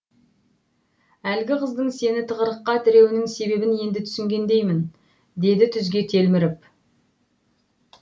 әлгі қыздың сені тығырыққа теруінің себебін енді түсінгендеймін деді түзге телміріп